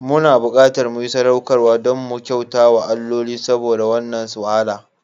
Muna buƙatar mu yi sadaukarwa don mu kyauta wa alloli saboda wannan wahala.